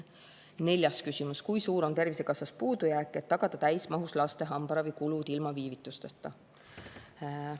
Neljas küsimus: "Kui suur on tervisekassas puudujääk, et tagada täismahus laste hambaravi kulud ilma viivitusteta?